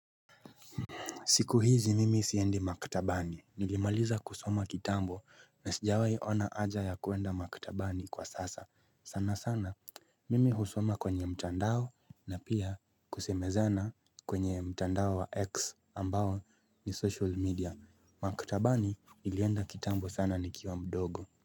Siku hizi mimi siendi maktabani. Nilimaliza kusoma kitambo na sijawai ona haja ya kuenda maktabani kwa sasa. Sana sana, mimi husoma kwenye mtandao na pia kusemezana kwenye mtandao wa X ambao ni social media. Maktabani nilienda kitambo sana nikiwa mdogo.